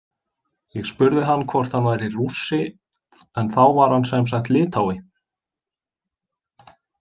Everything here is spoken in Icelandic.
Ég spurði hann hvort hann væri Rússi en þá var hann semsagt Litái.